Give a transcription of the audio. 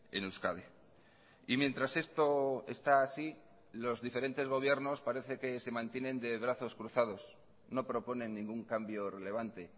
en euskadi y mientras esto está así los diferentes gobiernos parece que se mantienen de brazos cruzados no proponen ningún cambio relevante